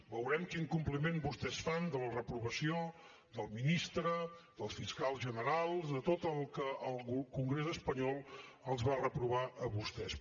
veurem quin compliment vostès fan de la reprovació del ministre del fiscal general de tot el que el congrés espanyol els va reprovar a vostès